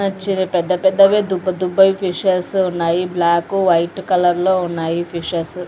నచ్చినవి పెద్దపెద్దవి దుబ్బదుబ్బవి ఫిషెస్ ఉన్నాయి బ్లాక్ వైట్ కలర్లో ఉన్నాయి ఫిషెస్ .